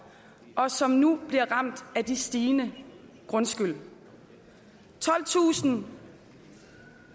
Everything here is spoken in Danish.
og som nu bliver ramt af den stigende grundskyld tolvtusind